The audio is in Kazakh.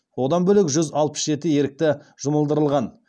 одан бөлек жүз алпыс жеті ерікті жұмылдырылған